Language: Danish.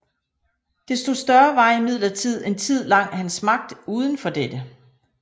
Desto større var imidlertid en Tid lang hans Magt uden for dette